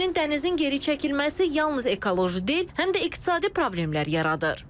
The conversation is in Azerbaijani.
Həmçinin dənizin geri çəkilməsi yalnız ekoloji deyil, həm də iqtisadi problemlər yaradır.